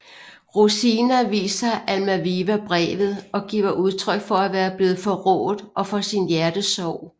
Rosina viser Almaviva brevet og giver udtryk for at være blevet forrådt og for sin hjertesorg